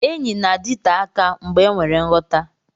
Enyi na-adịte aka mgbe enwere nghọta.